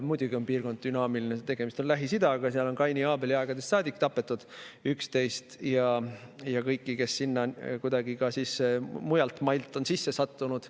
Muidugi on piirkond dünaamiline, sest tegemist on Lähis-Idaga, seal on Kaini ja Aabeli aegadest saadik tapetud üksteist ja kõiki, kes sinna kuidagi ka mujalt mailt on sattunud.